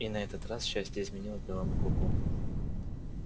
и на этот раз счастье изменило белому клыку